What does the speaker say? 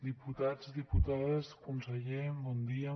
diputats diputades conseller bon dia